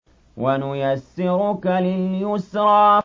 وَنُيَسِّرُكَ لِلْيُسْرَىٰ